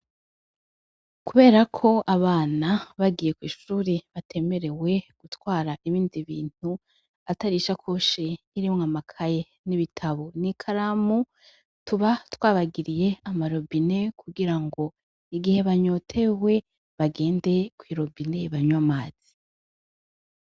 kuberako abana bagiye kw'ishuri batemerewe gutwara ibindi bintu atari ishakoshi irimwa amakaye n'ibitabo n'ikaramu tuba twabagiriye amarobine kugira ngo igihe banyotewe bagende kw'irobine banwe amazi.